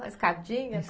Escadinha?